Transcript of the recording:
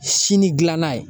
Sini gilanna ye